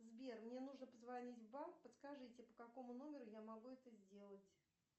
сбер мне нужно позвонить в банк подскажите по какому номеру я могу это сделать